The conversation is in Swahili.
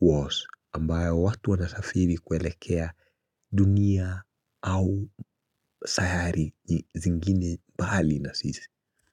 Wars ambayo watu wanasafiri kuelekea dunia au sayari zingine mbali na sisi.